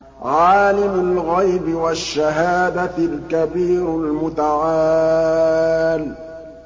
عَالِمُ الْغَيْبِ وَالشَّهَادَةِ الْكَبِيرُ الْمُتَعَالِ